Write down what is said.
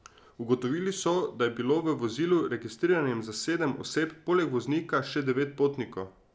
Ugotovili so, da je bilo v vozilu, registriranem za sedem oseb, poleg voznika še devet potnikov.